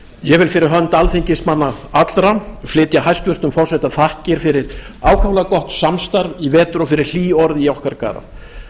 ég vil fyrir hönd alþingismanna allra flytja hæstvirts forseta þakkir fyrir ákaflega gott samstarf í vetur og fyrir hlý orð í okkar garð